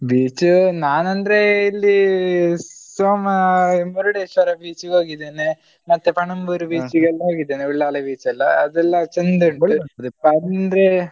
Beach ನಾನಂದ್ರೆ ಇಲ್ಲಿ ಸೋಮ ಮುರುಡೇಶ್ವರ beach ಗೆ ಹೋಗಿದ್ದೇನೆ ಮತ್ತೇ ಪಣಂಬೂರು beach ಗೆಲ್ಲಾ ಹೋಗಿದ್ದೇನೆ ಉಳ್ಳಾಲ beach ಎಲ್ಲಾ ಅದೆಲ್ಲಾ ಚಂದ ಉಂಟು ಅಂದ್ರೆ